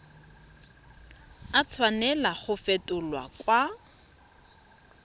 a tshwanela go fetolwa kwa